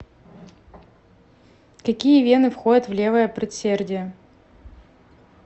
какие вены входят в левое предсердие